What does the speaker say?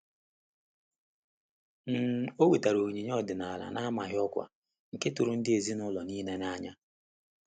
um O wetara onyinye ọdịnala n'amaghị ọkwa, nke tụrụ ndị ezinụlọ niile n'anya